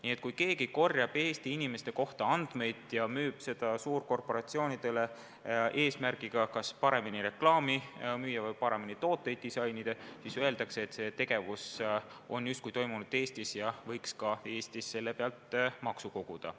Nii et kui keegi korjab Eesti inimeste kohta andmeid ja müüb neid suurkorporatsioonidele, et need saaksid paremini reklaami müüa või paremini tooteid disainida, siis oleks arusaam selline, et see tegevus on justkui toimunud Eestis ja võiks Eestis selle pealt ka maksu koguda.